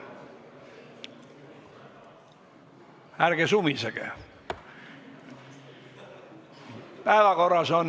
Ärge sumisege!